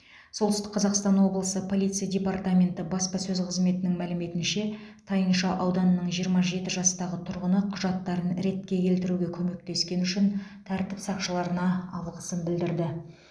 солтүстік қазақстан облысы полиция департаменті баспасөз қызметінің мәліметінше тайынша ауданының жиырма жеті жастағы тұрғыны құжаттарын ретке келтіруге көмектескені үшін тәртіп сақшыларына алғысын білдірді